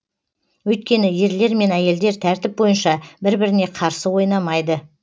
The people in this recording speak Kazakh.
өйткені ерлер мен әйелдер тәртіп бойынша бір біріне қарсы ойнамайды